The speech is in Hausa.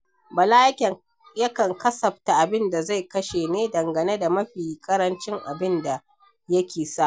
Bala yakan kasafta abin da zai kashe ne dangane da mafi ƙarancin abin da yake samu.